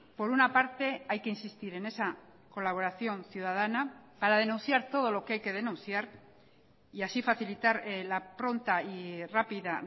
por una parte hay que insistir en esa colaboración ciudadana para denunciar todo lo que hay que denunciar y así facilitar la pronta y rápida